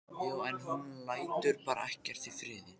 Já, en hún lætur bara ekkert í friði.